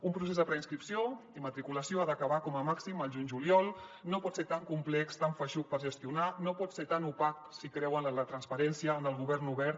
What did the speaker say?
un procés de preinscripció i matriculació ha d’acabar com a màxim al juny juliol no pot ser tan complex tan feixuc de gestionar no pot ser tan opac si creuen en la transparència en el govern obert